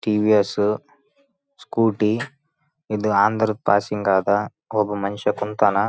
TVS Scooty ಇದು ಆಂಧ್ರದ್ passing ಆದ ಒಬ್ಬ ಮನುಷ್ಯ ಕುಂತಾನ.